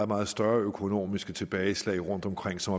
meget større økonomiske tilbageslag rundtomkring som